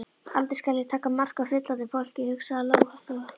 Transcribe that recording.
Aldrei skal ég taka mark á fullorðnu fólki, hugsaði Lóa Lóa.